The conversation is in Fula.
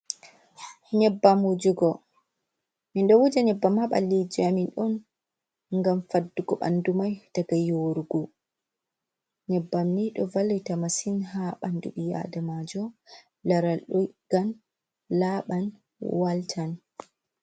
"Nyebbam" wujugo min ɗo wuja nyebbam ha ɓalliji amin on ngam faddugo ɓandu mai daga yorugo. Nyebbam ni ɗo vallita masin ha ɓandu ɓii adamajo laral ɗo ɗiggan, laral laɓan, waltan.